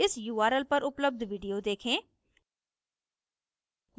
इस url पर उपलब्ध video देखें